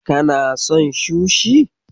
Kana son sushi?